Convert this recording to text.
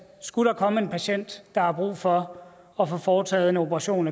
skulle komme en patient der akut har brug for at få foretaget en operation